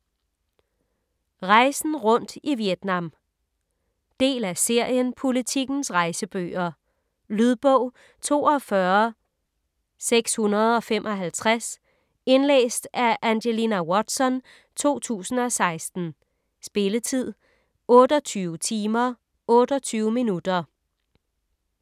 Rejsen rundt i Vietnam Del af serien Politikens rejsebøger. Lydbog 42655 Indlæst af Angelina Watson, 2016. Spilletid: 28 timer, 28 minutter.